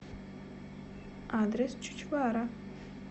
адрес чучвара